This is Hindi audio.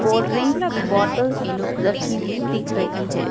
कोल्ड ड्रिंक्स की बॉटल्स रखी हुई दिख रही है।